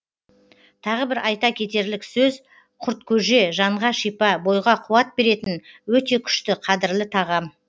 тағы бір айта кетерлік сөз құрткөже жанға шипа бойға қуат беретін өте күшті қадірлі тағам